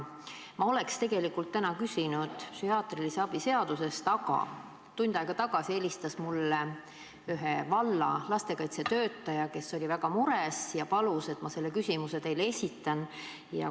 Ma oleksin täna küsinud psühhiaatrilise abi seaduse kohta, aga tund aega tagasi helistas mulle ühe valla lastekaitsetöötaja, kes oli väga mures ja palus, et ma selle küsimuse teile esitaksin.